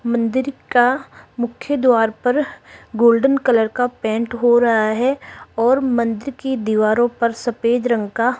मंदिर का मुख्य द्वार पर गोल्डन कलर का पेंट हो रहा है और मंदिर की दीवारों पर सफेद रंग का --